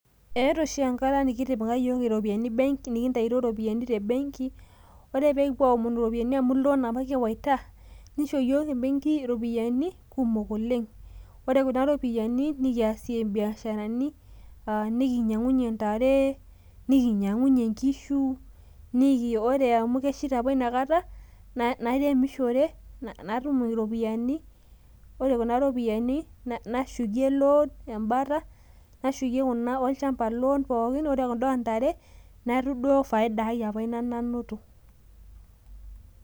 eeta oshi enkata nikitaituo iyiok iropiyiani te bengi ore pee kipuo amonu iropiyiani amu loan apa kiwaita, nisho iyiok ebengi iropiyiani kumok oleng', ore kuna ropiyiani nikiasie biasharani nikinyang'unyie ntare , nikinyang'unyie inkishu, ore amu kesheita apa ina kata nairemushore , natum iropiyiani ore kuna ropiyiani nashukie loan ebata, nashukie kuna olchamba loan neeku duo kuda oontare faida nanoto.